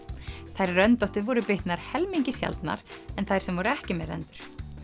þær röndóttu voru bitnar helmingi sjaldnar en þær sem voru ekki með rendur